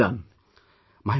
Well done...